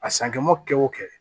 A sankɛma kɛ o kɛ